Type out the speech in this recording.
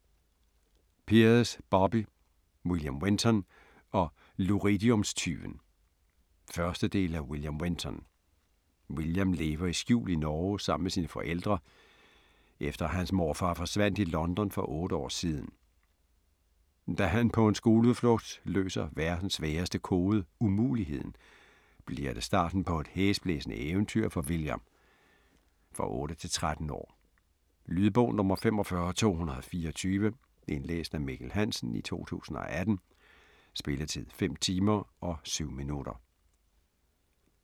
Peers, Bobbie: William Wenton & luridiumstyven 1. del af William Wenton. William lever i skjul i Norge sammen med sine forældre, efter at hans morfar forsvandt i London for 8 år siden. Da han på en skoleudflugt løser verdens sværeste kode "Umuligheden", bliver det starten på et hæsblæsende eventyr for William. For 8-13 år. Lydbog 45224 Indlæst af Mikkel Hansen, 2018. Spilletid: 5 timer, 7 minutter.